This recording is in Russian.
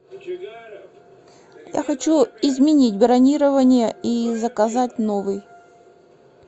я хочу изменить бронирование и заказать новый